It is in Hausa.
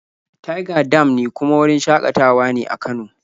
Tiga dam ne kuma wurin shaƙatawa ne a Kano.